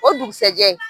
O dugusajɛ